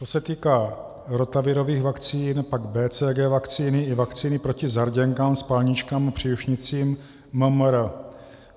To se týká rotavirových vakcín, pak BCG vakcíny i vakcíny proti zarděnkám, spalničkám a příušnicím MMR.